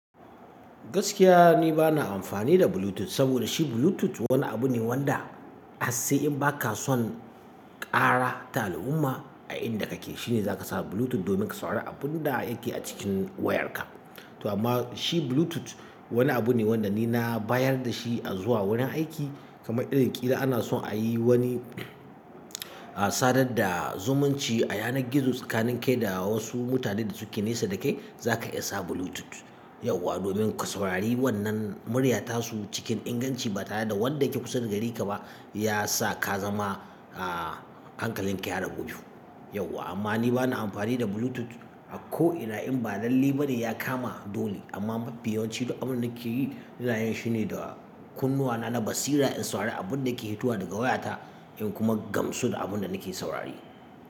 Gaskiya ni bana amfani da Bluetooth saboda shi Bluetooth wani abu ne wanda a sai in ba ka son ƙara ta al'umma a inda ka ke, shi ne za ka sa Bluetooth domin ka saurari abun da yake a cikin wayarka. To amma shi Bluetooth wani abu ne wanda ni na bayar da shi a zuwa wurin aiki. Kaman irin ƙila ana son a yi wani, ah, sadar da zumunci a yanar gizo tsakanin kai da wasu mutane da suke nesa da kai, za ka iya sa Bluetooth. Yauwa domin ka saurari wannan murya tasu cikin inganci ba tare da wanda yake kusa da gare ka ba, ya sa ka zama, ah, hankalin ka ya rabu biyu. Yauwa amma ni bana amfani da Bluetooth a ko'ina in ba lalle bane ya kama dole. Amma mafi yawanci to abin da nake yi ina yin shi ne da kunnuwana na basira in saurari abun da ke hitowa daga wayata in kuma gamsu da abun da nake saurari.